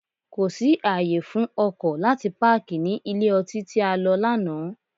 Kò sí ààyè fún ọkọ̀ láti páàkì ní ilé ọtí tí a lọ lánàá.